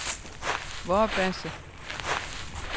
Vorbasse